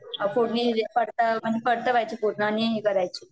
फोडणी दिली, परतवायचे पूर्ण, परतावयचे आणि हे करायचे